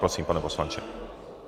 Prosím, pane poslanče.